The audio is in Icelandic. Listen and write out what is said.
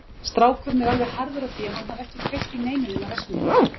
Strákurinn er alveg harður á því að hann hafi ekki kveikt í neinu nema verksmiðjunni.